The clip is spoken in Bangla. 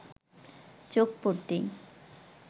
চোখ পড়তেই